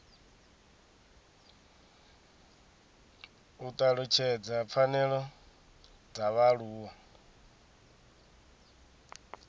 u talutshedza pfanelo dza vhaaluwa